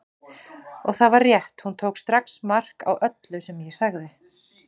Og það var rétt, hún tók strax mark á öllu sem ég sagði.